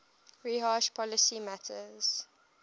rehash policy matters